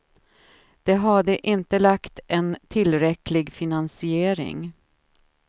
De hade inte lagt en tillräcklig finansiering.